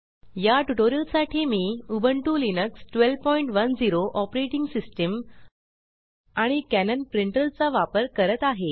या ट्यूटोरियल साठी मी उबुंटु लिनक्स 1210 ओएस आणि कॅनन प्रिंटर चा वापर करत आहे